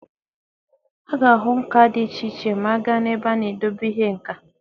A ga-ahụ nka dị iche iche ma a gaa n'ebe a na-edebe ihe nka.